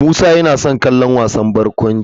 Musa yana son kallon wasan barkwanci.